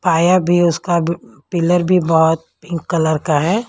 पाया भी उसका पिलर भी बहुत पिंक कलर का है।